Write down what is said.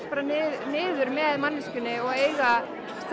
niður með manneskjunni og eiga